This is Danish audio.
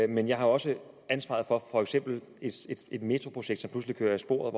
men jeg har også ansvaret for for eksempel et metroprojekt som pludselig kører af sporet